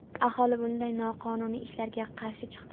Aholi bunday noqonuniy ishlarga qarshi chiqdi.